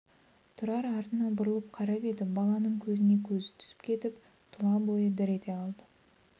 тұрар артына бұрылып қарап еді баланың көзіне көзі түсіп кетіп тұлабойы дір ете қалды